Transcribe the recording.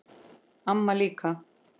Amma líka.